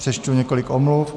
Přečtu několik omluv.